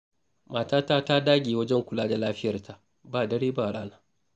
Matata ta dage wajen kula da lafiyarta ba dare ba rana.